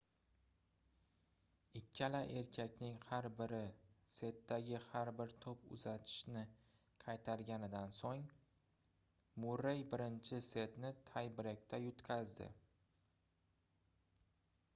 ikkala erkakning har biri setdagi har bir toʻp uzatishni qaytarganidan soʻng murrey birinchi setni tay-breykda yutqazdi